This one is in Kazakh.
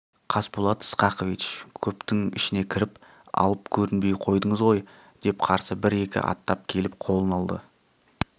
қасболат сқақович көптің ішіне кіріп алып көрінбей қойдыңыз ғой деп қарсы бір-екі аттап келіп қолын алды